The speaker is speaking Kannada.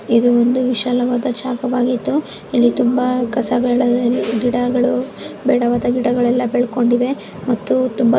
ಇದು ಒಂದು ವಿಶಾಲವಾದ ಜಾಗವಾಗಿದ್ದು ಇಲ್ಲಿ ತುಂಬಾ ಕಸಗಳು ಗಿಡಗಳು ಬೇಡವಾದ ಗಿಡಗಳೆಲ್ಲ ಬೆಳೆದುಕೊಂಡಿವೆ ಮತ್ತು ತುಂಬಾ --